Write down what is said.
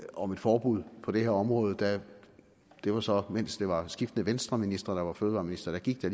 om et forbud på det her område det var så mens det var skiftende venstreministre der var fødevareministre gik der